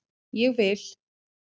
Ég vil